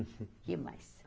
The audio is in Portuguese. O que mais?